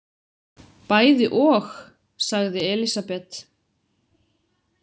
Bæði og, sagði Elísabet.